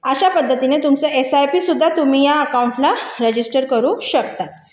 अशा पद्धतीने तुमचे एसआयपी सुद्धा तुम्ही या अकाउंटला रजिस्टर करू शकता